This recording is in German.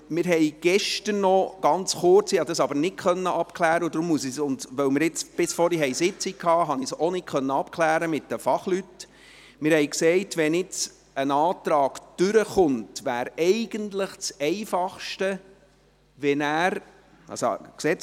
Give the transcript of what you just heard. Wir haben gestern noch ganz kurz gesagt – ich konnte dies aber mit den Fachleuten nicht abklären –, wenn jetzt ein Antrag durchkommt, wäre es eigentlich am einfachsten, wenn nachher …